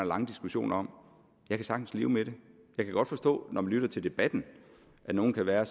lange diskussioner om jeg kan sagtens leve med det jeg kan godt forstå når man lytter til debatten at nogle kan være